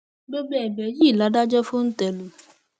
gbogbo ẹbẹ yìí ni adájọ fòńté lù